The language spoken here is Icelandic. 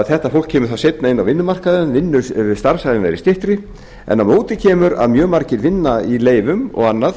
þetta fólk kemur þá seinna inn á vinnumarkaðinn starfsævin verður styttri en á móti kemur að mjög margir vinna í leyfum og annað